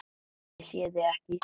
Ég sé þig ekki.